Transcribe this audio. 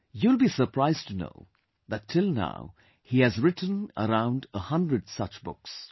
You will be surprised to know that till now he has written around a 100 such books